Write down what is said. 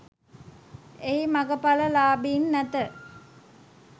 එහි මගඵල ලාබීන් නැත